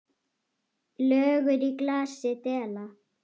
Lögur í glasi dela.